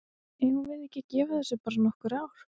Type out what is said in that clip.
Eigum við ekki að gefa þessu bara nokkur ár?